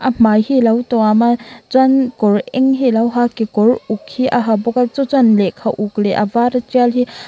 a hmai hi alo tuama chuan kawr eng hi alo ha a kekawr uk hi a ha bawka chu chuan lehkha uk leh a vara tial hi.